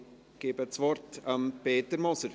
Ich gebe das Wort Peter Moser.